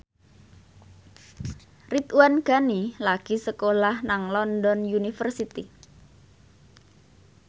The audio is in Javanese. Ridwan Ghani lagi sekolah nang London University